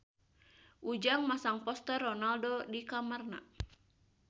Ujang masang poster Ronaldo di kamarna